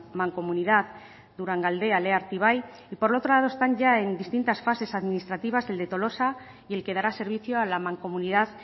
mancomunidad durangaldea lea artibai y por otro lado están ya en distintas fases administrativas el de tolosa y el que dará servicio a la mancomunidad